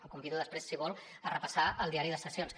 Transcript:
el convido després si vol a repassar el diari de sessions